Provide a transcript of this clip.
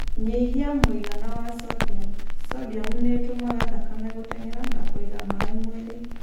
Nyihia mũigana wa sodium. Sodium nĩ ĩtũmaga thakame gũteng'era na kũiga maĩ mwĩrĩ.